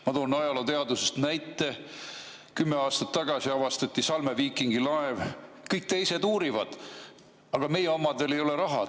Ma toon näite ajalooteadusest: kümme aastat tagasi avastati Salme viikingilaev, kõik teised uurivad, aga meie omadel ei ole raha.